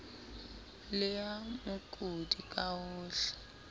le ya mookodi ka hohle